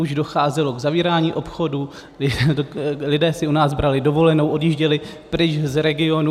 Už docházelo k zavírání obchodů, lidé si u nás brali dovolenou, odjížděli pryč z regionu.